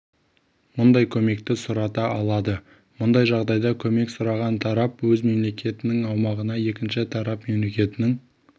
мұндай көмекті сұрата алады мұндай жағдайда көмек сұраған тарап өз мемлекетінің аумағына екінші тарап мемлекетінің